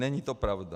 Není to pravda.